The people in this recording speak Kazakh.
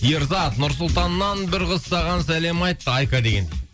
ерзат нұр сұлтаннан бір қыз саған сәлем айтты айка деген